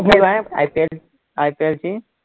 IPLIPL ची